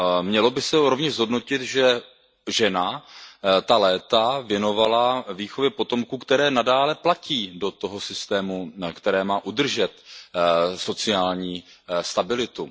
Mělo by se rovněž zhodnotit, že žena ta léta věnovala výchově potomků, že ta léta nadále platí do toho systému, který má udržet sociální stabilitu.